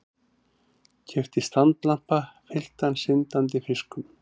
Keypti standlampa fylltan syndandi fiskum.